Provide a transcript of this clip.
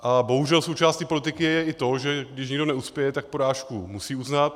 A bohužel součástí politiky je i to, že když někdo neuspěje, tak porážku musí uznat.